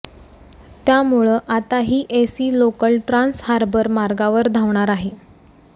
त्यामुळं आता ही एसी लोकल ट्रान्स हार्बर मार्गावर धावणार आहे